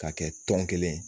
Ka kɛ tɔn kelen